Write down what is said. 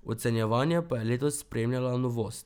Ocenjevanje pa je letos spremljala novost.